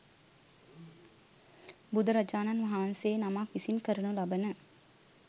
බුදුරජාණන් වහන්සේ නමක් විසින් කරනු ලබන